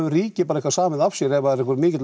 ríkið bara eitthvað samið af sér ef það er einhver mikill